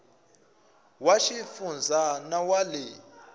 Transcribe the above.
wa xifundza na wa le